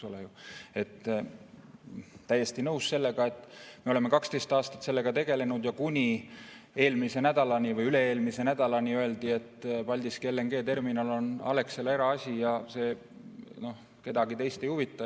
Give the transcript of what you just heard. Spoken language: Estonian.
Olen täiesti nõus, et me oleme 12 aastat sellega tegelenud ja kuni eelmise nädalani või üle-eelmise nädalani öeldi, et Paldiski LNG-terminal on Alexela eraasi ja see kedagi teist ei huvita.